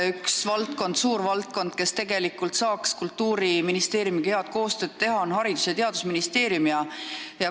Üks suur valdkond, kus tegelikult saaks Kultuuriministeeriumiga head koostööd teha, on Haridus- ja Teadusministeeriumi valdkond.